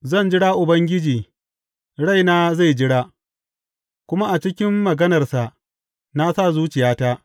Zan jira Ubangiji, raina zai jira, kuma a cikin maganarsa na sa zuciyata.